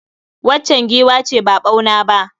Waccan giwa ce ba ɓauna ba.